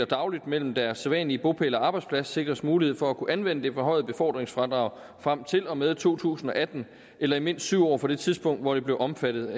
dagligt mellem deres sædvanlige bopæl og arbejdsplads sikres mulighed for at kunne anvende det forhøjede befordringsfradrag frem til og med to tusind og atten eller i mindst syv år fra det tidspunkt hvor de blev omfattet